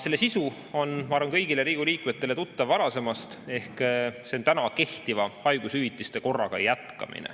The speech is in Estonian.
Selle sisu on, ma arvan, kõigile Riigikogu liikmetele tuttav varasemast, see on kehtiva haigushüvitise korraga jätkamine.